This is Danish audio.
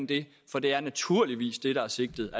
det for det er naturligvis det der er sigtet